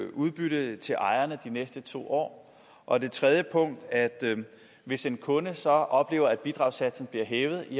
udbytte til ejerne de næste to år og det tredje punkt at hvis en kunde så oplever at bidragssatsen bliver hævet